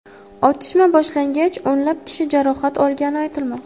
Otishma boshlangach, o‘nlab kishi jarohat olgani aytilmoqda.